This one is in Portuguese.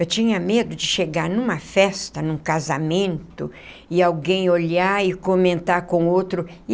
Eu tinha medo de chegar numa festa, num casamento, e alguém olhar e comentar com outro.